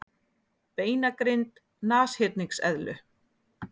Beinagrind nashyrningseðlu